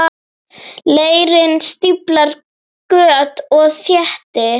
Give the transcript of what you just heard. Leirinn stíflar göt og þéttir.